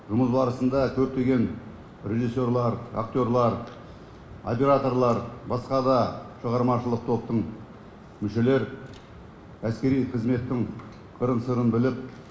жұмыс барысында көптеген режиссерлар актерлар операторлар басқа да шығармашылық топтың мүшелері әскери қызметтің қырын сырын біліп